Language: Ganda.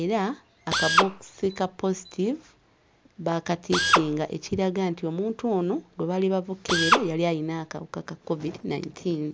era akabookisi ka poozitiivu baakatiikinga ekiraga nti omuntu ono gwe baali bava okkebera yali ayina akawuka ka KKOVIDI nineteen.